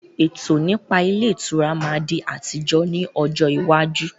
Ètò nípa ilé ìtura máa di ti àtijọ́ ni ọjọ́ iwájú